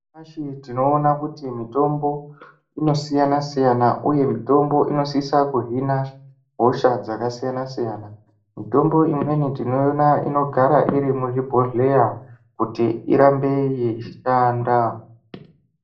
Nyamashi tinoona kuti mitombo , inoasiyana-siyana, uye mitombo inosisa kuhina, hosha dzakasiyana-siyana. Mitombo imweni tinoiona inogara iri muzvibhodhleya ,kuti irambe ichishanda.